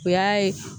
O y'a ye